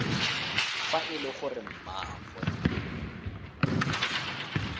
fa e le gore mmaagwe